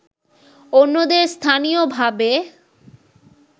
অন্যদের স্থানীয়ভাবে